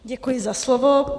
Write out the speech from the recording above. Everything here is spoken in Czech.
Děkuji za slovo.